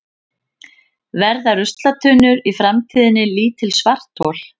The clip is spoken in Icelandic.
Verða ruslatunnur í framtíðinni lítil svarthol?